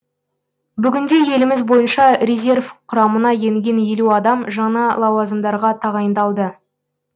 бүгінде еліміз бойынша резерв құрамына енген елу адам жаңа лауазымдарға тағайындалды